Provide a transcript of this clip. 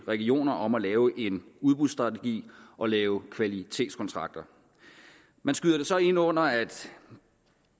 regioner om at lave en udbudsstrategi og lave kvalitetskontrakter man skyder det så ind under at